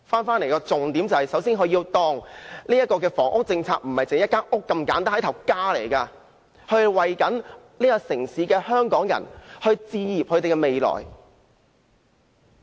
首先，政府不要把房屋政策視作一間房屋那麼簡單，房屋是一個家，要為這個城市的香港人置業，讓他們建立未來。